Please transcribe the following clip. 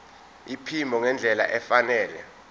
iphimbo ngendlela efanele